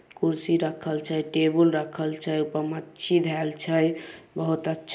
कुर्सी रक्खल छै टेबुल रक्खल छै ऊ पर मच्छी धैल छै बहुत अच्छ--